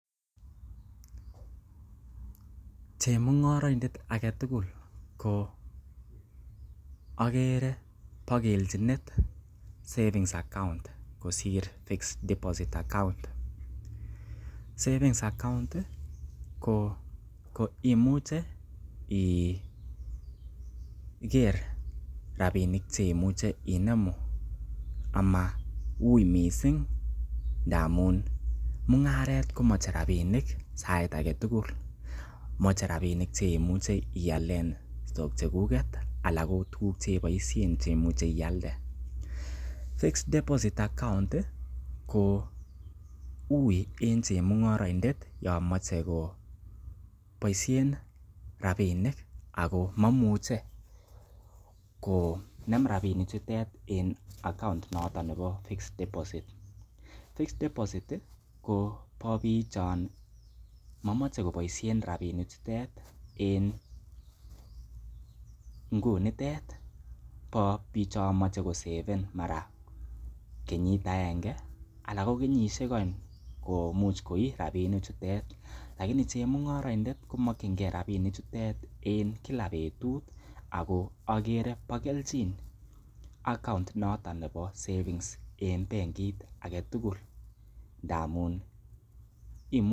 Chemung'oroindet age tugul ko ogere bo kelchinit savings account kosir deposit account . savings account ko imuche iger rabinik che imuche inemu amauiy mising ndamun mung'aret komoche rabinik sait age tugul. Moche rabinik cheimuche ialen stock chekuket anan ko tuguk cheiboisien che imuche ialde. Fixed deposit account i ko uiy en chemung'oroindet yon moche koboisiien rabinik ago momuche konem rabinik chutet en account noton nebo fixed deposit . Fixed deposit i ko bo biik chon momoche koboisien rabinik chutet en ngunitet bo bichon moche koseven mara kenyit agenge ana ko kenyisiek oeng komuch koi rabinik chutet lakini chemung'oroindet komokinge rabinik chutet en kila betut ago ogere bo kelchin account inoto bo savings en bengit age tugul.